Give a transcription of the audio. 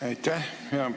Aitäh!